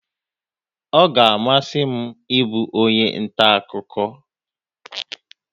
Ọ ga-amasị m ịbụ onye nta akụkọ